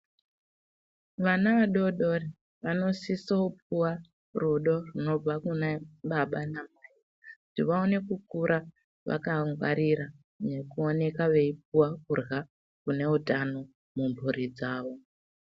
Vana vadodori vanosisa kupuwa rudo runobva kunababa namai kuti vaone kukura vakangwarira nekuoneka veipuwa kurya kune utano mumburi dzavo.